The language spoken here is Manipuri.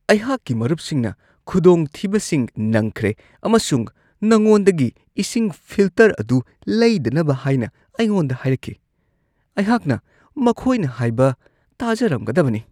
ꯑꯩꯍꯥꯛꯀꯤ ꯃꯔꯨꯞꯁꯤꯡꯅ ꯈꯨꯗꯣꯡꯊꯤꯕꯁꯤꯡ ꯅꯪꯈ꯭ꯔꯦ ꯑꯃꯁꯨꯡ ꯅꯉꯣꯟꯗꯒꯤ ꯏꯁꯤꯡ ꯐꯤꯜꯇꯔ ꯑꯗꯨ ꯂꯩꯗꯅꯕ ꯍꯥꯏꯅ ꯑꯩꯉꯣꯟꯗ ꯍꯥꯏꯔꯛꯈꯤ ꯫ ꯑꯩꯍꯥꯛꯅ ꯃꯈꯣꯏꯅ ꯍꯥꯏꯕ ꯇꯥꯖꯔꯝꯒꯗꯕꯅꯤ ꯫ (ꯀꯁꯇꯃꯔ)